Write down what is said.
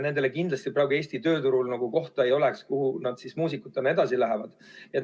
Nendele kindlasti praegu Eesti tööturul kohta ei oleks, kuhu muusikutena edasi minna.